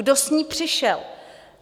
Kdo s ní přišel?